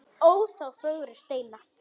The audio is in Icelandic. Ó þá fögru steina.